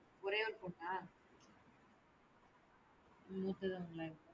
ஒரே ஒரு பொண்ணா? மூத்தது இவங்க